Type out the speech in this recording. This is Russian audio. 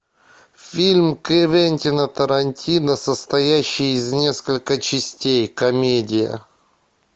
фильм квентина тарантино состоящий из несколько частей комедия